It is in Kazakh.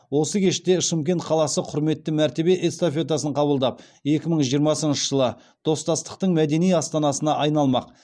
осы кеште шымкент қаласы құрметті мәртебе эстафетасын қабылдап екі мың жиырмасыншы жылы достастықтың мәдени астанасына айналмақ